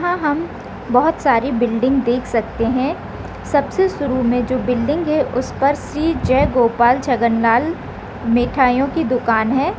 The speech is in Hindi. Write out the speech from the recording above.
यहाँ हम बहुत सारी बिल्डिंग देख सकते हैं सबसे शुरू मे जो बिल्डिंग है उस पर श्री जय गोपाल छगन लाल मिठाईयों की दुकान है।